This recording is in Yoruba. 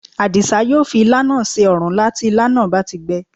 Àdìsá yóò fi ilá náà se òrúnlá tí ilá náà bá ti gbẹ